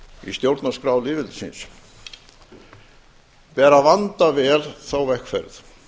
í stjórnarskrá lýðveldisins ber að vanda vel þá vegferð